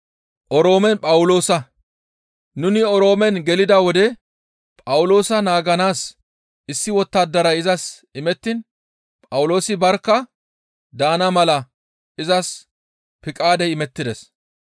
Nuni Oroome gelida wode Phawuloosa naaganaas issi wottadaray izas imettiin Phawuloosi barkka daana mala izas Piqaadey imettides.